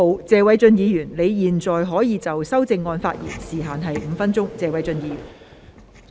謝偉俊議員，你現在可以就修正案發言，時限為5分鐘。